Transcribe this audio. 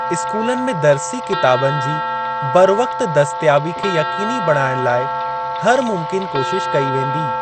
स्कूलनि में दर्सी किताबनि जी बरवक़्ति दस्तियाबी खे यक़ीनी बणाइणु लाइ हर मुमकिन कोशिश कई वेंदी।